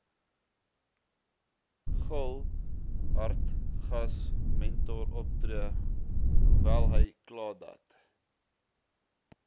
gul hartigasmentoroptree hoewelhykladat